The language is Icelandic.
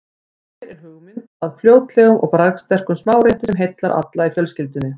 Hér er hugmynd að fljótlegum og bragðsterkum smárétti sem heillar alla í fjölskyldunni.